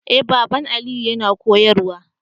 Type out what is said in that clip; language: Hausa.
Eh baban Aliyu yana koyarwa